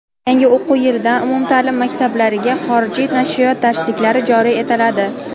Yangi o‘quv yilidan umumtaʼlim maktablariga xorijiy nashriyot darsliklari joriy etiladi.